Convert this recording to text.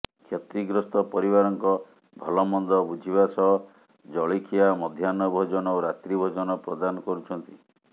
କ୍ଷତିଗ୍ରସ୍ତ ପରିବାରଙ୍କ ଭଲମନ୍ଦ ବୁଝିବା ସହ ଜଳିଖିଆ ମଧ୍ୟାହ୍ନଭୋଜନ ଓ ରାତ୍ରିଭୋଜନ ପ୍ରଦାନ କରୁଛନ୍ତି